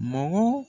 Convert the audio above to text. Mɔgɔ